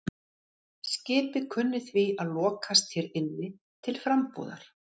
Skipið kunni því að lokast hér inni til frambúðar.